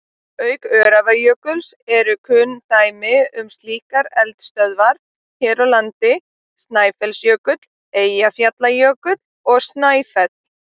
Auk Öræfajökuls eru kunn dæmi um slíkar eldstöðvar hér á landi Snæfellsjökull, Eyjafjallajökull og Snæfell.